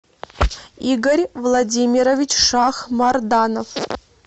игорь владимирович шахмарданов